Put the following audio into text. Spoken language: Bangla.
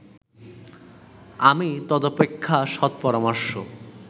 আমি তদপেক্ষা সৎ পরামর্শ